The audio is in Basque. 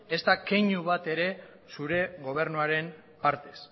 ezta keinu bat ere zure gobernuaren partez